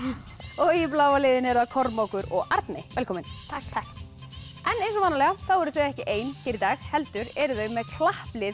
og í bláa liðinu eru það Kormákur og velkomin takk en eins og venjulega þá eru þau ekki ein hér í dag heldur eru þau með klapplið